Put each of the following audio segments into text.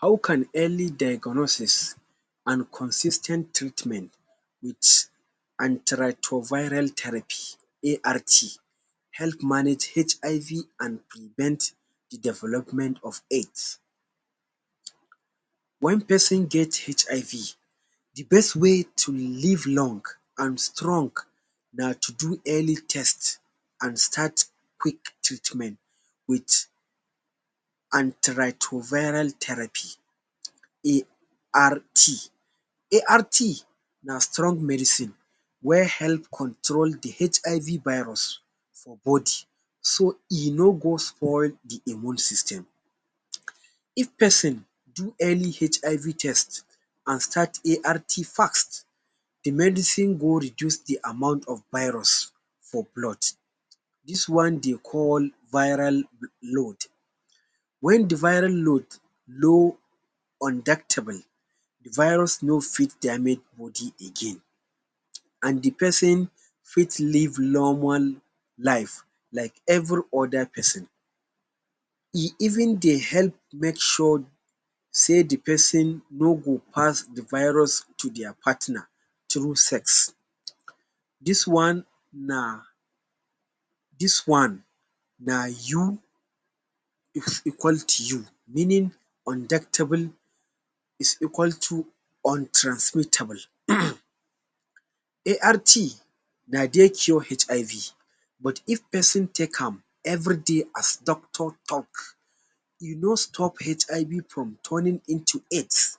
How can early diagnosis an consis ten t treatment with Antiretroviral Therapy ART help manage HIV an prevent the development of AIDS. Wen pesin get HIV, the best way to live long an strong na to do early test an start quick treatment with Antiretroviral Therapy ART. ART na strong medicine wey help control the HIV virus for body so e no go spoil the immune system. If pesin do any HIV test an start ART fast, the medicine go reduce the amount of virus for blood. Dis one de call viral load. Wen the viral load low the virus no fit damage body again, an the pesin fit live normal life like every other pesin. E even dey help make sure sey the pesin no go pass the virus to dia partner through sex. Dis one na dis one na you equal to you meaning is equal to untransmitable. ART na dey cure HIV but if pesin take am everyday as doctor talk, you no stop HIV from turning into AIDS.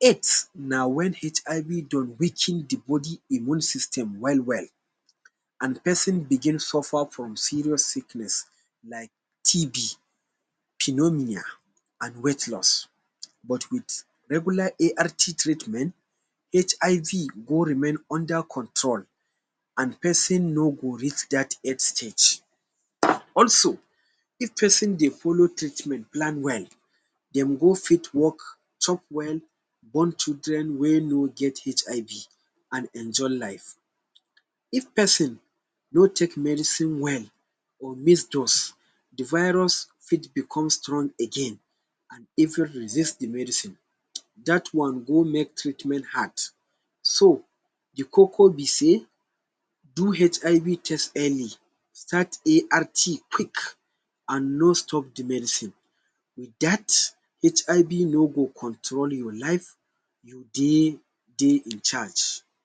AIDS na wen HIV don weaken the body immune system well-well, an pesin begin suffer from serious sickness like TB, pneumonia, an weight loss. But with regular ART treatment, HIV go remain under control an pesin no go reach dat AID stage. Also, if pesin dey follow treatment plan well, dem go fit work, chop well, born children wey no get HIB an enjoy life. If pesin no take medicine well, or miss drugs, the virus fit become strong again an even resist the medicine. Dat one go make treatment hard. So, the koko be sey do HIV test early, start ART quick an no stop the medicine. With dat, HIB no go control your life. You dey dey in charge.